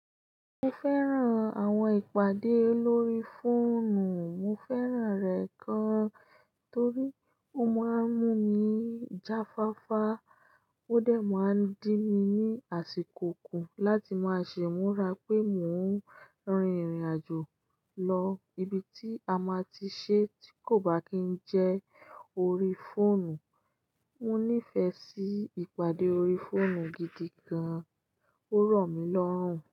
Mo fẹ́ràn àwọn ìpàdé lórí fóònù. Mo fẹ́ràn rẹ̀ gan, torí ó máa ń mú mi jáfáfá. Ó dẹ̀ máa ń dín mi ní àsìkò kú láti máa ṣe imúra pé mò ń rin ìrìnàjò lọ ibi tí a máa ti ṣe tí kò bá kí ń jẹ́ orí fóònù. Mo nífẹ̀ẹ́ sí ìpàdé orí fóònù gidi gan. Ó ro mí lọ́rùn.